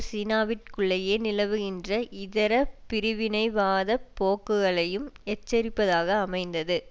சீனாவிற்குள்ளேயே நிலவுகின்ற இதர பிரிவினைவாதப் போக்குகளையும் எச்சரிப்பதாக அமைந்தது